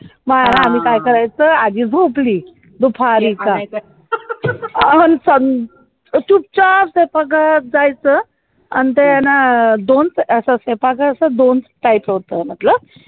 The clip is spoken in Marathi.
आम्ही काय करायचं आधी भोपळी अहो चूप चाप आणि ते ना दोन दोन देयचा होत म्हंटलं